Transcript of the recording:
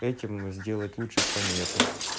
этим сделать лучше планету